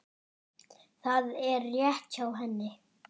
Það er rétt hjá henni.